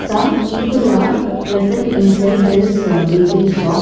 Some people are present inside this bakery shop.